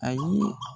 Ayi